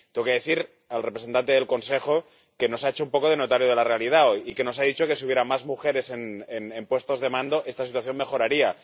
Tengo que decir al representante del Consejo que nos ha hecho un poco de notario de la realidad, ya que nos ha dicho que, si hubiera más mujeres en puestos de mando, esta situación mejoraría.